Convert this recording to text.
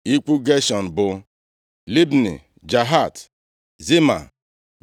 Ikwu Geshọm bụ Libni, Jahat, Zima,